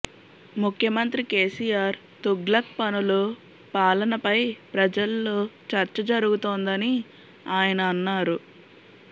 ముఖ్యమంత్రి కేసీఆర్ తుగ్లక్ పనులు పాలన పై ప్రజల్లో చర్చ జరుగుతోందని ఆయన అన్నారు